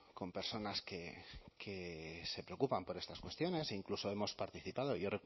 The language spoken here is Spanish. con personas que se preocupan por estas cuestiones e incluso hemos participado yo